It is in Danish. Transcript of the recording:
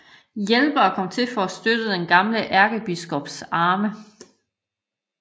Hjælpere kom til for at støtte den gamle ærkebiskops arme